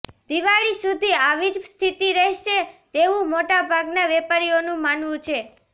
દિવાળી સુધી આવી જ સ્થિતિ રહેશે તેવંુ મોટાભાગના વેપારીઓનું માનવું છે